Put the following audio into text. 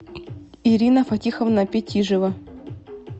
ирина фатиховна петижева